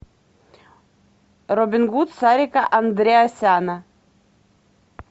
робин гуд сарика андреасяна